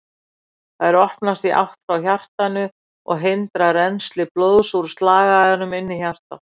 Þær opnast í átt frá hjartanu og hindra rennsli blóðs úr slagæðunum inn í hjartað.